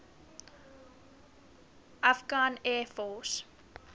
afghan air force